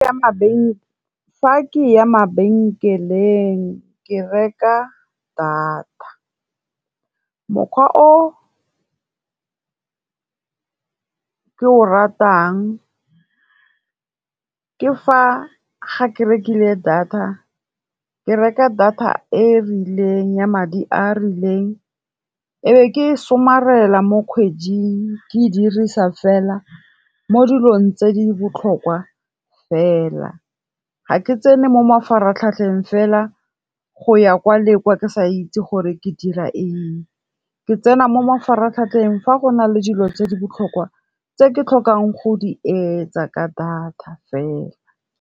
Fa ke ya mabenkeleng ke reka data. Mokgwa o ke o ratang, ke fa ga ke rekile data, ke reka data e e rileng ya madi a a rileng, ebe ke e somarela mo kgweding ke e dirisa fela mo dilong tse di botlhokwa fela. Ga ke tsene mo mafaratlhatlheng fela go ya kwa leka ke sa itse gore ke dira eng, ke tsena mo mafaratlhatlheng fa go na le dilo tse di botlhokwa tse ke tlhokang go di etsa ka data fela.